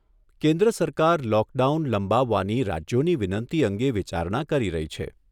કેન્દ્ર સરકાર લોકડાઉન લંબાવવાની રાજ્યોની વિનંતી અંગે વિચારણા કરી રહી છે.